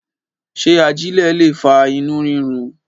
ṣe aijẹ le fa inu rirun?